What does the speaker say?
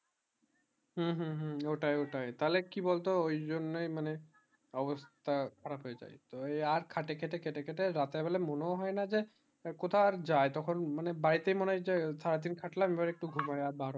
হম হম হম ওটাই ওটাই তালে কি বল তো ওই জন্য মানে অবস্থা খারাপ হয়ে যায় তা আর খেটে খেটে খেটে খেটে রাতে বেলা মনে ও হয়ে না যে কোথায় আর যায় তখন মানে বাড়ী তে মনে হয়ে যে সারা দিন খাটলাম আর এইবার ঘুমায় আর